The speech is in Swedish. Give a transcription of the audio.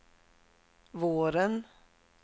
våren